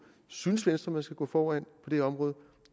synes venstre vi skal gå foran på de områder